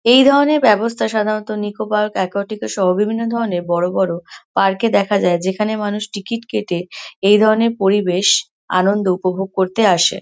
এই ধরণের ব্যবস্থা সাধারণত নিকো পার্ক একুয়াটিকা সহ বিভিন্ন ধরণের বড়ো বড়ো পার্ক -এ দেখা যায় যেখানে মানুষ টিকিট কেটে এই ধরণের পরিবেশ আনন্দ উপভোগ করতে আসে।